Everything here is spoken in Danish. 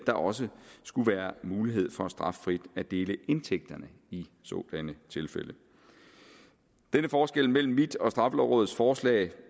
der også skulle være mulighed for straffrit at dele indtægterne i sådanne tilfælde denne forskel mellem mit og straffelovrådets forslag